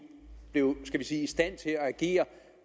blev skal vi sige i stand til at agere